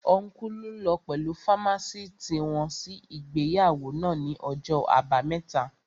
Ọ́nkùlù lọ pẹ̀lú fámásìtì wọn sí ìgbéyàwó náà ní ọjọ́ àbámẹ́ta